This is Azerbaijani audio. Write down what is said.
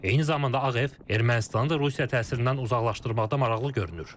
Eyni zamanda Ağ Ev Ermənistanı da Rusiya təsirindən uzaqlaşdırmaqda maraqlı görünür.